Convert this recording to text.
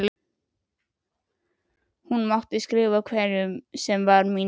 Hún mátti skrifa hverjum sem var mín vegna.